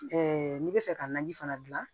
n'i bɛ fɛ ka naji fana dilan